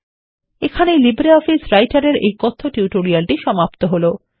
এখানেই লিব্রিঅফিস রাইটারএর এই কথ্য টিউটোরিয়ালটি সমাপ্ত হলো